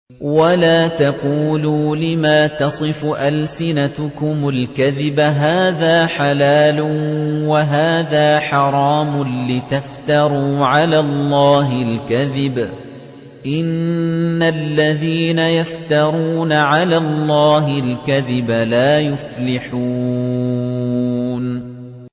وَلَا تَقُولُوا لِمَا تَصِفُ أَلْسِنَتُكُمُ الْكَذِبَ هَٰذَا حَلَالٌ وَهَٰذَا حَرَامٌ لِّتَفْتَرُوا عَلَى اللَّهِ الْكَذِبَ ۚ إِنَّ الَّذِينَ يَفْتَرُونَ عَلَى اللَّهِ الْكَذِبَ لَا يُفْلِحُونَ